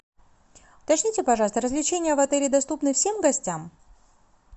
уточните пожалуйста развлечения в отеле доступны всем гостям